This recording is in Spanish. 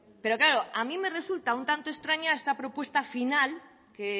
pero claro a mi me resulta un tanto extraña esta propuesta final que